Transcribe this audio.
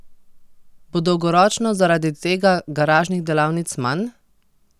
Bo dolgoročno zaradi tega garažnih delavnic manj?